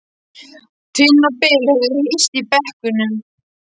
Tinna og Bill höfðu hist í brekkunum.